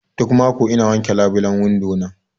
Duk mako ina wake labilen windo na.